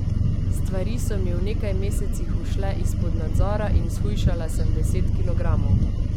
Stvari so mi v nekaj mesecih ušle izpod nadzora in shujšala sem deset kilogramov.